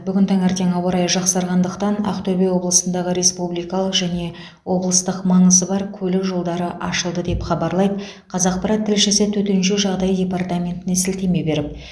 бүгін таңертең ауа райы жақсарғандықтан ақтөбе облысындағы республикалық және облыстық маңызы бар көлік жолдары ашылды деп хабарлайды қазақпарат тілшісі төтенше жағдай департаментіне сілтеме беріп